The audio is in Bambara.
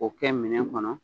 O kɛ minɛ kɔnɔ.